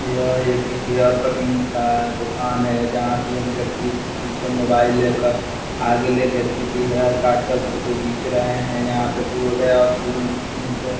यह एक hair cutting का दुकान हैं जहाॅं पर व्यक्ति पीछे मोबाइल लेकर अगले व्यक्ति की हेयर काटकर फोटो खींच रहे हैं। यहाॅं पर बोर्ड हैं और क्रीम --